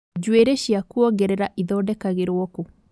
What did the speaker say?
Njuĩrĩ cia kuongerera ithondekagĩrwo ku?